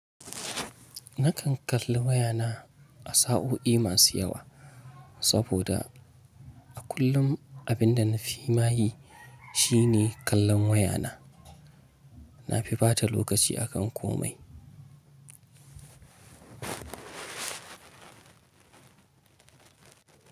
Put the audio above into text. Nakan kalli wayana a sa'o'i masu yawa saboda a kullum abinda nafi ma yi shine kallon wayana. Nafi bata lokaci akan komai.